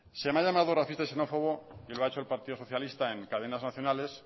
se me ha llamado racista y xenófobo y lo ha hecho el partido socialista en cadenas nacionales